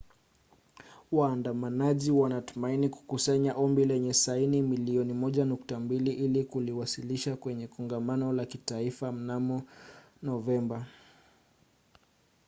waandamanaji wanatumaini kukusanya ombi lenye saini milioni 1.2 ili kuliwasilisha kwenye kongamano la kitaifa mnamo novemba